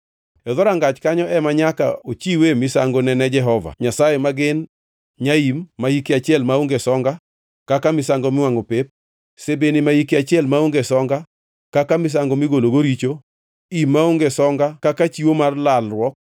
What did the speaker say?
E dhorangach kanyo ema nyaka ochiwe misangone ne Jehova Nyasaye ma gin: nyaim ma hike achiel maonge songa kaka misango miwangʼo pep, sibini ma hike achiel maonge songa kaka misango migologo richo; im maonge songa kaka chiwo mar lalruok,